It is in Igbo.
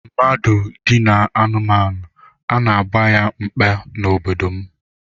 Mmadụ dinaa anụmanụ, a na-agba ya mkpe n'obodo m